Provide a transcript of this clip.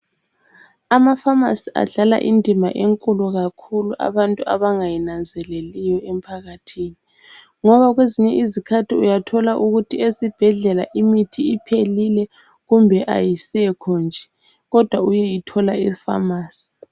Amafamisi adlala indima enkulu kakhulu abantu abangayinanzeleliyo emphakathini ngoba kwezinye izikhathi uyathola ukuthi esibhedlela imithi iphelile kumbe ayisekho nje kodwa uyeyithola efamasi.